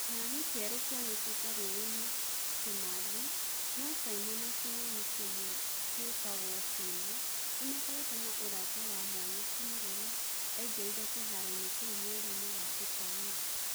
Kĩng'ang'i kĩerũ kĩonekĩte rũũĩ-inĩ Kimathi, no Caimo na kĩng'ang'i kĩmwe kĩtagũo Timo nĩ makoretwo na ũrata wa mwanya kuuma rĩrĩa aingĩrire kĩharoinĩ kĩu mweriinĩ wa ĩtano .